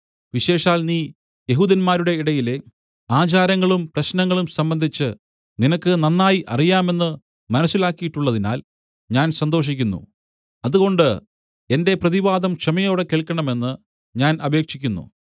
വിശേഷാൽ നീ യെഹൂദന്മാരുടെ ഇടയിലെ ആചാരങ്ങളും പ്രശ്നങ്ങളും സംബന്ധിച്ച് നിനക്ക് നന്നായി അറിയാമെന്ന് മനസ്സിലാക്കിയിട്ടുള്ളതിനാൽ ഞാൻ സന്തോഷിക്കുന്നു അതുകൊണ്ട് എന്റെ പ്രതിവാദം ക്ഷമയോടെ കേൾക്കണമെന്ന് ഞാൻ അപേക്ഷിക്കുന്നു